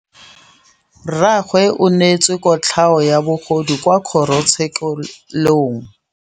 Rragwe o neetswe kotlhaô ya bogodu kwa kgoro tshêkêlông.